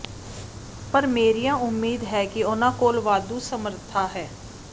ਪਰ ਮੇਰੀਆਂ ਉਮੀਦ ਹੈ ਕਿ ਉਨ੍ਹਾਂ ਕੋਲ ਵਾਧੂ ਸਮਰੱਥਾ ਹੈ